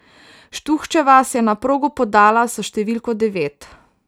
Štuhčeva se je na progo podala s številko devet.